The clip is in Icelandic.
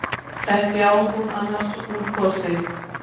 Hún á ekki annars úrkosti.